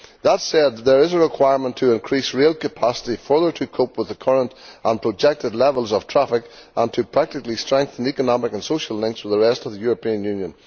That said, there is a requirement to increase rail capacity further, to cope with the current and projected levels of traffic and to practically strengthen economic and social links with the rest of the European Union.